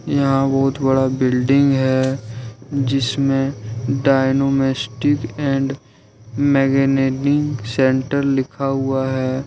यहां बहुत बड़ा बिल्डिंग है जिसमें डायनोमिस्टिक एंड मैगेनेनीग़ सेंटर लिखा हुआ है।